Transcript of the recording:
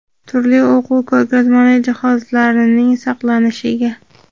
turli o‘quv ko‘rgazmali jihozlar)ning saqlanishiga;.